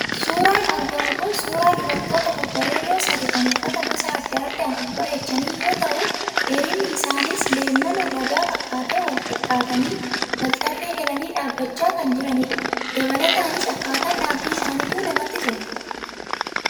Suuraan argamu kun suuraa dubartoota babbareedoo sadii kan uffata gosa adda addaan of bareechanii yoo ta'u, dheerinni isaaniis leemmana lagaa fakkaatee wal-qixxaatanii, wal-tarree galanii dhaabachaa kan jiranidha. Dabalataanis akkaataan dhaabbii isaaniituu namatti tola.